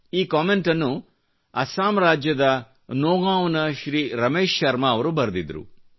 ಈ ಕಮೆಂಟ್ನ್ನು ಅಸಮ್ ರಾಜ್ಯದ ನೌಗಾಂವ್ ನ ಶ್ರೀ ರಮೇಶ್ ಶರ್ಮಾ ಅವರು ಬರೆದಿದ್ದರು